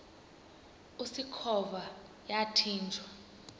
usikhova yathinjw a